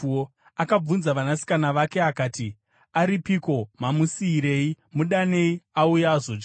Akabvunza vanasikana vake akati, “Aripiko? Mamusiyirei? Mudanei, auye azodya.”